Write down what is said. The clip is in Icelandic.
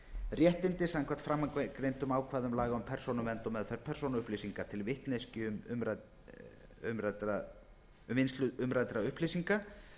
réttindi samkvæmt framangreindum ákvæðum laga um persónuvernd og meðferð persónuupplýsinga til vitneskju um vinnslu umræddra upplýsinga